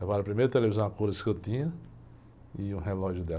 Levaram a primeira a televisão a cores que eu tinha, e o relógio dela.